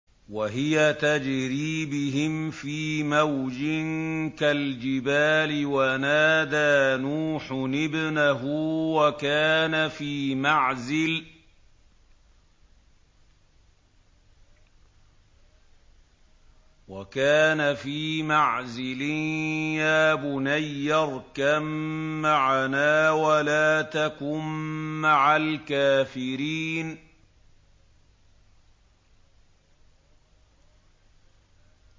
وَهِيَ تَجْرِي بِهِمْ فِي مَوْجٍ كَالْجِبَالِ وَنَادَىٰ نُوحٌ ابْنَهُ وَكَانَ فِي مَعْزِلٍ يَا بُنَيَّ ارْكَب مَّعَنَا وَلَا تَكُن مَّعَ الْكَافِرِينَ